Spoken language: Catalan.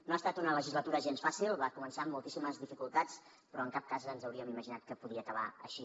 no ha estat una legislatura gens fàcil va començar amb moltíssimes dificultats però en cap cas ens hauríem imaginat que podia acabar així